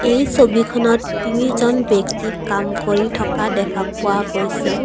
এই ছবিখনত তিনিজন ব্যক্তি কাম কৰি থকা দেখা পোৱা গৈছে।